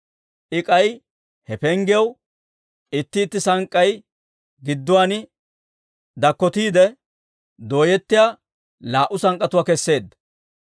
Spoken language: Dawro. I K'ay he penggiyaw itti itti sank'k'ay gidduwaan dakkotiide dooyettiyaa laa"u sank'k'atuwaa keseedda.